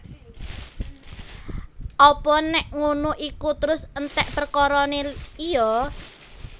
Apa nék ngono iku terus enték perkarané iya